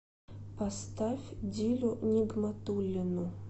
поставь дилю нигматуллину